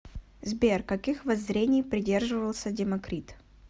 сбер каких воззрений придерживался демокрит